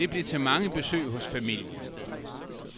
Det blev til mange besøg hos familien.